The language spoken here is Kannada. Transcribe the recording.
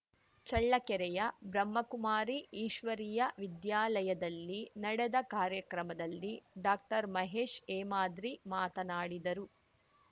ಚಳ್ಳಕೆರೆಯ ಬ್ರಹ್ಮಕುಮಾರಿ ಈಶ್ವರಿಯ ವಿದ್ಯಾಲಯದಲ್ಲಿ ನಡೆದ ಕಾರ್ಯಕ್ರಮದಲ್ಲಿ ಡಾಕ್ಟರ್ಮಹೇಶ್‌ ಹೇಮಾದ್ರಿ ಮಾತನಾಡಿದರು